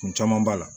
Kun caman b'a la